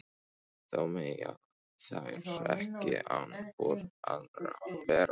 Þó mega þær ekki án hvor annarrar vera.